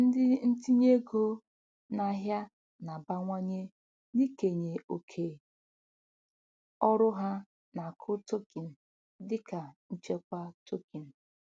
Ndị ntinye ego n'ahịa na-abawanye n'ikenye oke ọrụ ha n'akụ tokin dịka nchekwa tokin.